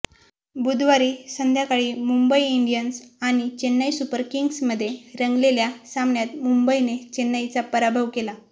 बुधवारी संध्याकाळी मुंबई इंडियन्स आणि चेन्नई सुपर किंग्जमध्ये रंगलेल्या सामन्यात मुंबईने चेन्नईचा पराभव केला